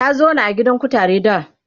ta zauna a gidan kutare da